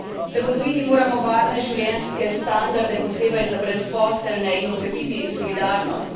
Zagotoviti moramo varne življenjske standarde, posebej za brezposelne, in okrepiti solidarnost.